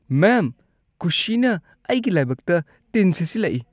ꯃꯦꯝ, ꯀꯨꯁꯤꯅ ꯑꯩꯒꯤ ꯂꯥꯏꯕꯛꯇ ꯇꯤꯟ ꯁꯤꯠꯆꯤꯜꯂꯛꯏ꯫